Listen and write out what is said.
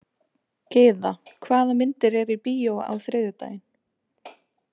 Gyða, hvaða myndir eru í bíó á þriðjudaginn?